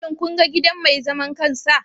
Shin kun ga gidan mai zaman kansa?